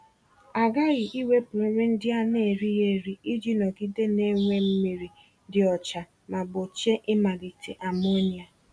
A ghaghị iwepụ nri ndị a na-erighị eri iji nọgide na-enwe mmiri dị ọcha ma gbochie ịmalite amonia.